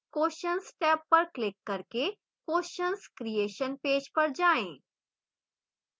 questions tab पर click करके questions creation page पर जाएँ